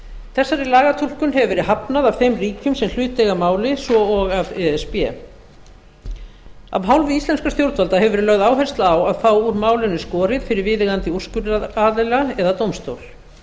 þessari lagatúlkun hefur verið hafnað af þeim ríkjum sem hlut eiga að máli svo og af e s b af hálfu íslenskra stjórnvalda hefur verið lögð áhersla á að fá úr málinu skorið fyrir viðeigandi úrskurðaraðila eða dómstól